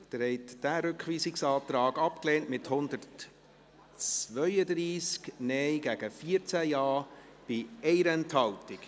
Sie haben diesen Rückweisungsantrag abgelehnt, mit 132 Nein- gegen 14 Ja-Stimmen bei 1 Enthaltung.